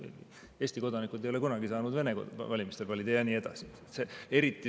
Peale selle, noh, Eesti kodanikud ei ole kunagi saanud Vene valimistel valida ja nii edasi.